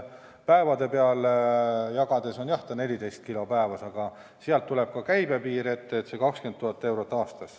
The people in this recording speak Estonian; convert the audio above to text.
Päevade peale jagades on see, jah, 14 kilo päevas, aga sealt tuleb ka käibe piir ette, see on 20 000 eurot aastas.